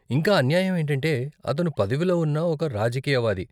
ఇంకా అన్యాయం ఏంటంటే, అతను పదవిలో ఉన్న ఒక రాజకీయవాది.